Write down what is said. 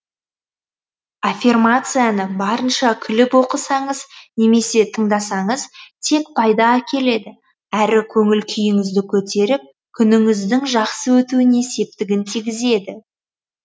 аффирмацияны барынша күліп оқысаңыз немесе тыңдасаңыз тек пайда әкеледі әрі көңіл күйіңізді көтеріп күніңіздің жақсы өтуіне септігін тигізеді